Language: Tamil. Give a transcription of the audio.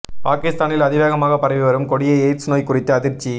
பாகிஸ்தானில் அதிவேகமாகப் பரவி வரும் கொடிய எய்ட்ஸ் நோய் குறித்து அதிர்ச்சி